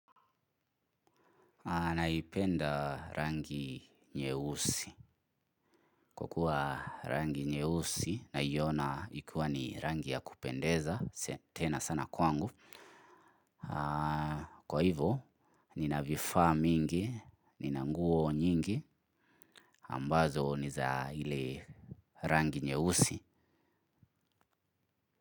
Naipenda rangi nyeusi. Kwa kuwa rangi nyeusi naiona ikiwa ni rangi ya kupendeza, tena sana kwangu. Kwa hivo, nina vifaa mingi, nina nguo nyingi, ambazo ni za ile rangi nyeusi.